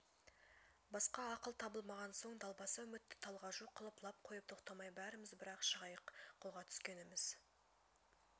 басқа ақыл табылмаған соң далбаса үмітті талғажу қылып лап қойып тоқтамай бәріміз бір-ақ шығайық қолға түскеніміз